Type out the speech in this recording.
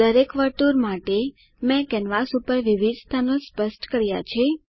દરેક વર્તુળ માટે મેં કેનવાસ પર વિવિધ સ્થાનો સ્પષ્ટ કર્યા છે